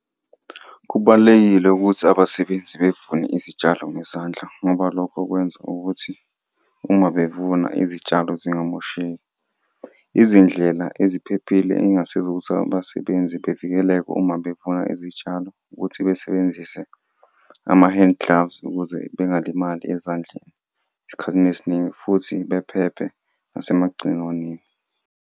Kubalulekile ukuthi abasebenzi bevune izitshalo ngezandla ngoba lokho kwenza ukuthi uma bevuna izitshalo zingamosheki, izindlela eziphephile eyingasiza ukuthi abasebenzi bevikeleke uma bevuna izitshalo. Ukuthi basebenzise ama-hand gloves ukuze bengalimali ezandleni esikhathini esiningi futhi bephephe nasemagciwaneni.